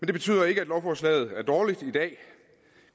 det betyder ikke at lovforslaget er dårligt